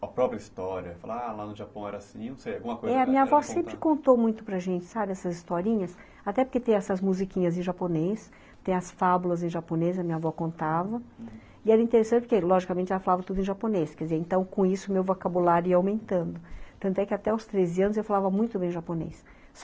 a própria história, falar lá no Japão era assim, não sei, alguma coisa... É, a minha avó sempre contou muito para gente, sabe, essas historinhas, até porque tem essas musiquinhas em japonês, tem as fábulas em japonês, a minha avó contava, uhum, e era interessante porque, logicamente, ela falava tudo em japonês, quer dizer, então, com isso, o meu vocabulário ia aumentando, tanto é que até os treze anos eu falava muito bem japonês.